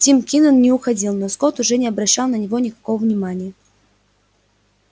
тим кинен не уходил но скотт уже не обращал на него никакого внимания